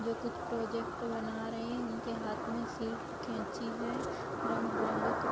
जो कुछ प्रोजेक्ट बना रहे हैं उनके हाथ में सीट कैंची है। रंग-बिरंगे --